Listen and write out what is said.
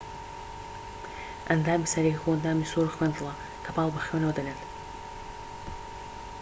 ئەندامی سەرەکی کۆئەندامی سووڕی خوێن دڵە کە پاڵ بە خوێنەوە دەنێت